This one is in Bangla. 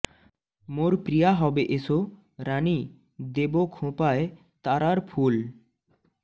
মোর প্রিয়া হবে এসো রানী দেব খোঁপায় তারার ফুল